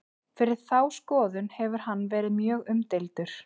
fyrir þá skoðun hefur hann verið mjög umdeildur